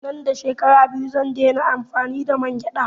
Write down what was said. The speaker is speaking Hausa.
Nan da shekara biyu zan dai na amfani da mangyaɗa